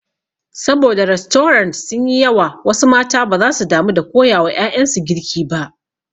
Sabo da rastorant sun yi yawa wasu mata baza su damu da koya wa ƴaƴansu girki ba.